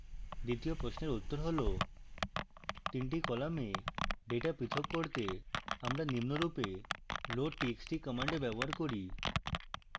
দ্বিতীয় প্রশ্নের উত্তর হল